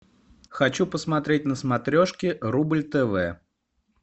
хочу посмотреть на смотрешке рубль тв